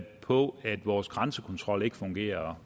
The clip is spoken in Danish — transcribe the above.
på at vores grænsekontrol ikke fungerer